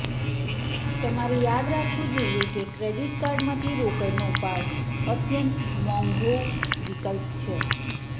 તમારે યાદ રાખવું જોઈએ કે ક્રેડિટ કાર્ડમાંથી રોકડનો ઉપાડ અત્યંત મોંઘો વિકલ્પ છે